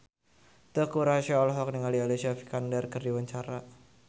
Teuku Rassya olohok ningali Alicia Vikander keur diwawancara